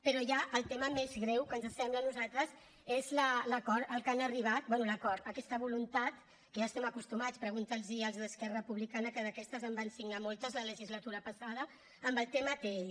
però ja el tema més greu que ens sembla a nosaltres és l’acord a què han arribat bé l’ acord aquesta voluntat a què ja hi estem acostumats pregunti’ls ho als d’esquerra republicana que d’aquestes en van signar moltes la legislatura passada amb el tema atll